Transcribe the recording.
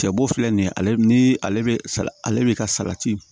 Cɛbɔ filɛ nin ye ale ni ale bɛ ale bɛ ka salati